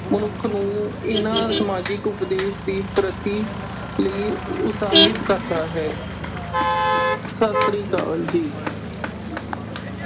ਮਨੁੱਖ ਨੂੰ ਇਨ੍ਹਾਂ ਸਮਾਜਿਕ ਉਦੇਸ਼ਾਂ ਦੀ ਪ੍ਰਾਪਤੀ ਲਈ ਉਤਸ਼ਾਹਿਤ ਕਰਦਾ ਹੈ। ਸਤਿ ਸ੍ਰੀ ਅਕਾਲ ਜੀ।